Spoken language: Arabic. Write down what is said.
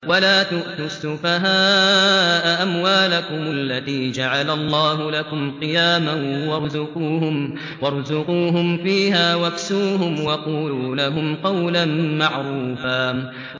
وَلَا تُؤْتُوا السُّفَهَاءَ أَمْوَالَكُمُ الَّتِي جَعَلَ اللَّهُ لَكُمْ قِيَامًا وَارْزُقُوهُمْ فِيهَا وَاكْسُوهُمْ وَقُولُوا لَهُمْ قَوْلًا مَّعْرُوفًا